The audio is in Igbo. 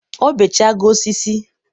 ọ bee chago osisi.